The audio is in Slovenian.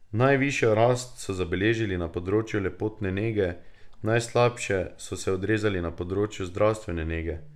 Najvišjo rast so zabeležili na področju lepotne nege, najslabše pa so se odrezali na področju zdravstvene nege.